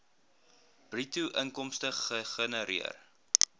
bruto inkomste gegenereer